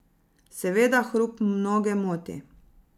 Seveda hrup mnoge moti.